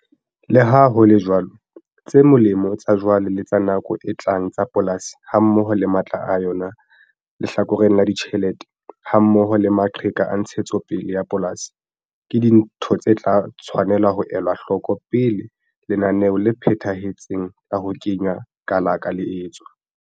Le ha ho le jwalo, tse molemo tsa jwale le tsa nako e tlang tsa polasi hammoho le matla a yona lehlakoreng la ditjhelete hammoho le maqheka a ntshetsopele ya polasi, ke dintho tse tla tshwanela ho elwa hloko pele lenaneo le phethahetseng la ho kenya kalaka le etswa.